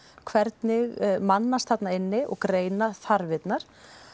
hvernig mannast þarna inni og greina þarfirnar